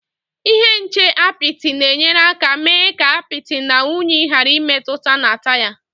Ihe nche apịtị na-enyere aka mee ka apịtị na unyi ghàrà ịmetụta na taya